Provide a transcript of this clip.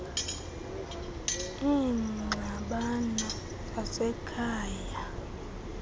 iingxabano zasekhaya icbnrm